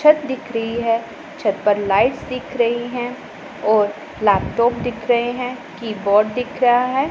छत दिख रही है छत पर लाइट्स दिख रही हैं और लैपटॉप दिख रहे हैं कीबोर्ड दिख रहा है।